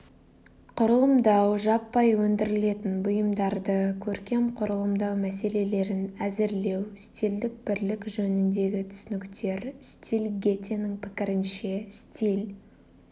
құрылымдау жаппай өндірілетін бұйымдарды көркем құрылымдау мәселелерін әзірлеу стильдік бірлік жөніндегі түсініктер стиль гетенің пікірінше стиль